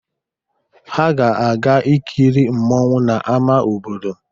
Ha ga-aga ikiri mmọnwụ n'ama obodo.